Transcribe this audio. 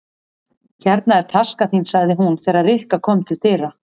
Hérna er taskan þín sagði hún þegar Rikka kom til dyra.